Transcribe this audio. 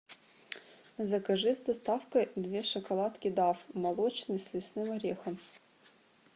закажи с доставкой две шоколадки дав молочный с лесным орехом